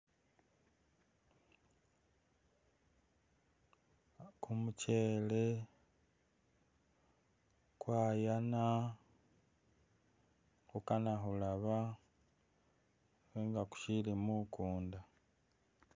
Kumuchele kwayana kukana khulaba ne nga kushili mukunda